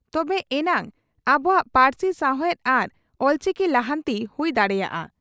ᱛᱚᱵᱮ ᱮᱱᱟᱝ ᱟᱵᱚᱣᱟ ᱯᱟᱹᱨᱥᱤ ᱥᱟᱣᱦᱮᱫ ᱟᱨ ᱚᱞᱪᱤᱠᱤ ᱞᱟᱦᱟᱱᱛᱤ ᱦᱩᱭ ᱫᱟᱲᱮᱭᱟᱜᱼᱟ ᱾